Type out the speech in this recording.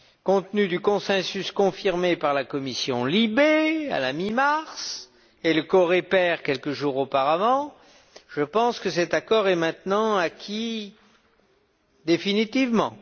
Compte tenu du consensus confirmé par la Commission LIBE à la mi mars et le COREPER quelques jours auparavant, je pense que cet accord est maintenant acquis définitivement.